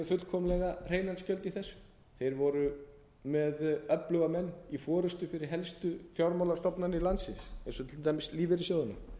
fullkomlega hreinan skjöld í þessu þeir voru með öfluga menn í forustu fyrir helstu fjármálastofnanir landsins eins og til dæmis lífeyrissjóðina